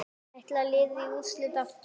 Ætlar liðið í úrslit aftur?